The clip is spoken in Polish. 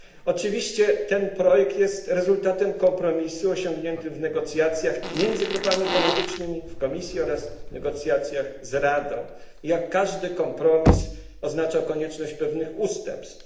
Oczywiście ten projekt jest rezultatem kompromisu osiągniętego w negocjacjach między grupami politycznymi w komisji oraz w negocjacjach z Radą, i jak każdy kompromis oznacza konieczność pewnych ustępstw.